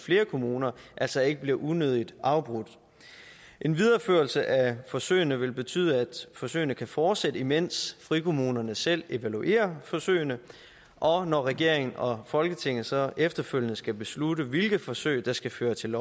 flere kommuner altså ikke bliver unødig afbrudt en videreførelse af forsøgene vil betyde at forsøgene kan fortsætte imens frikommunerne selv evaluerer forsøgene og når regeringen og folketinget så efterfølgende skal beslutte hvilke forsøg der skal føre til